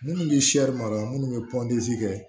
Minnu bɛ mara minnu bɛ kɛ